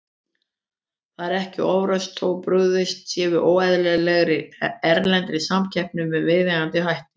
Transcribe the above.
Það er ekki ofrausn þótt brugðist sé við óeðlilegri, erlendri samkeppni með viðeigandi hætti.